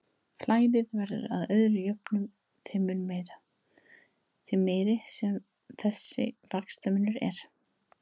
Flæðið verður að öðru jöfnu þeim mun meira, því meiri sem þessi vaxtamunur er.